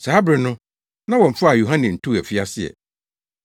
Saa bere no na wɔmfaa Yohane ntoo afiase ɛ.